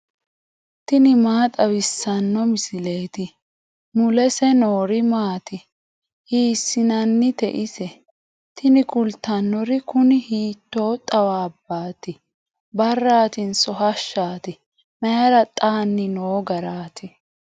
tini maa xawissanno misileeti ? mulese noori maati ? hiissinannite ise ? tini kultannori kuni hiitoo xawaabbaati barratinso hashshaati mayra xanni noo garaati